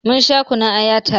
Mun sha kunun aya ta re